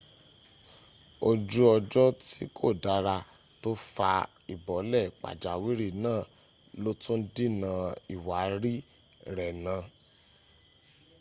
ojú ọjọ tí kò dára tó fa ìbọ́lẹ̀ pàjáwìrì náà lótú dínà ìwárí rẹ̀ náà